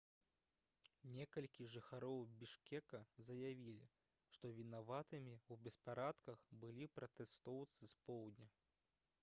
некалькі жыхароў бішкека заявілі што вінаватымі ў беспарадках былі пратэстоўцы з поўдня